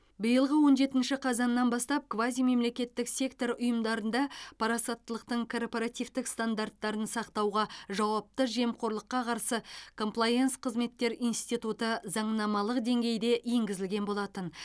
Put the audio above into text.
биылғы он жетінші қазаннан бастап квазимемлекеттік сектор ұйымдарында парасаттылықтың корпоративтік стандарттарын сақтауға жауапты жемқорлыққа қарсы комплаенс қызметтер институты заңнамалық деңгейде енгізілген болатын